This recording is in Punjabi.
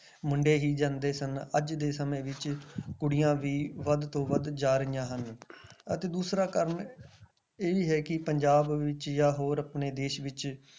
ਮੁੰਡੇ ਹੀ ਜਾਂਦੇ ਸਨ ਅੱਜ ਦੇ ਸਮੇਂ ਵਿੱਚ ਕੁੜੀਆਂ ਵੀ ਵੱਧ ਤੋਂ ਵੱਧ ਜਾ ਰਹੀਆਂ ਹਨ ਅਤੇ ਦੂਸਰਾ ਕਾਰਨ ਇਹ ਵੀ ਹੈ ਕਿ ਪੰਜਾਬ ਵਿੱਚ ਜਾਂ ਹੋਰ ਆਪਣੇ ਦੇਸ ਵਿੱਚ